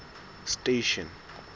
station